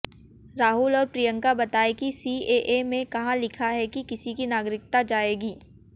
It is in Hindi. राहुल और प्रियंका बताएं कि सीएए में कहां लिखा है कि किसी की नागरिकता जाएगी